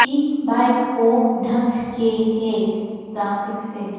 इन bike को ढक के है प्लास्टिक से।